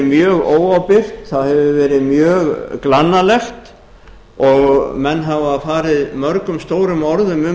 mjög óábyrgt það hefur verið mjög glannalegt og menn hafa farið mörgum stórum orðum um